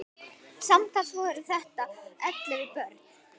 Samtals voru þetta ellefu börn.